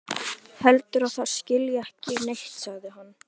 Heldur að það skilji ekki neitt, sagði hann.